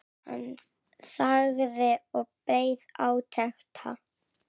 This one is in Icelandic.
Hann þagði og beið átekta.